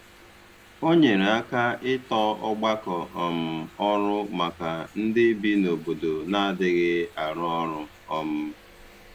Ọ nyere aka ịtọ ọgbakọ um ọrụ maka ndị bi n’obodo na-adịghị arụ ọrụ. um